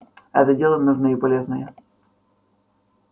это дело нужное и полезное